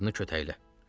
Apar o qadını kötəklə.